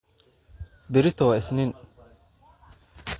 Berritoo wa isnin.